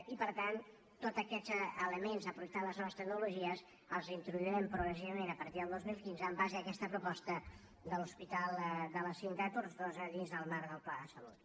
i per tant tots aquests elements aprofitant les noves tecnologies els introduirem progressivament a partir del dos mil quinze en base a aquesta proposta de l’hospital de la cinta de tortosa dins del marc del pla de salut